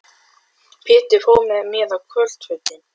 Pabbi átti sér þann draum að verða heimsfrægur ljósmyndari.